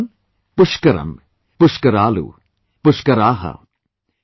My dear countrymen, Pushkaram, Pushkaraalu, Pushkaraha